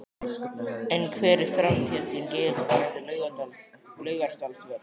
En hver er framtíðarsýn Geirs varðandi Laugardalsvöll?